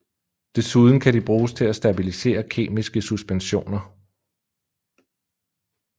Desuden kan de bruges til at stabilisere kemiske suspensioner